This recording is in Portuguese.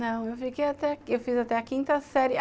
Não, eu fiquei até... Eu fiz até a quinta série.